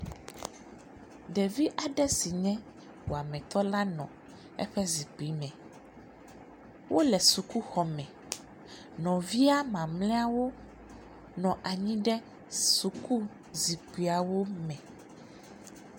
Ɖevi aɖe si nye wametɔ la nɔ eƒe zikpui me wole sukuxɔ me nɔvia mamleawo nɔ anyi ɖe suku zikpuia me.